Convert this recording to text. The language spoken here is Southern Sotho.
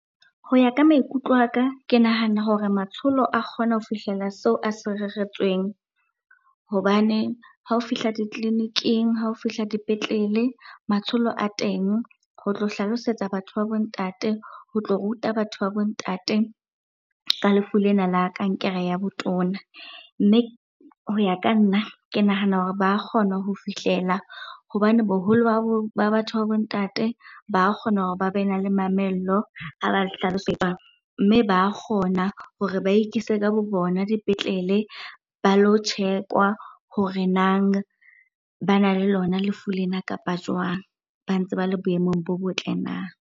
Ho ya ka maikutlo a ka, ke nahana hore matsholo a kgona ho fihlela seo a se reretsweng. Hobane ha o fihla ditleliniking, ha o fihla dipetlele matsholo a teng ho tlo hlalosetsa batho ba bo ntate, ho tlo ruta batho ba bo ntate ka lefu lena la kankere ya botona. Mme ho ya ka nna, ke nahana hore ba kgona ho fihlela hobane boholo ba bo, ba batho ba bo ntate ba kgona hore ba bena le mamello ha ba . Mme ba kgona hore ba ikise ka bo bona dipetlele ba lo check-wa hore nang bana le lona lefu lena kapa jwang, ba ntse ba le boemong bo botle na?